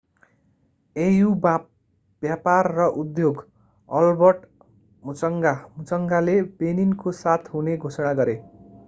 au व्यापार र उद्योग albert muchanga मुचंगाले benin को साथ हुने घोषणा गरे